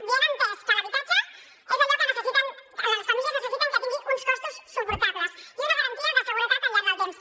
viena ha entès que l’habitatge és allò que les famílies necessiten que tingui uns costos suportables i una garantia de seguretat al llarg del temps